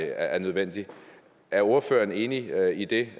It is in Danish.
er nødvendigt er ordføreren enig i det